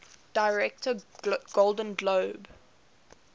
director golden globe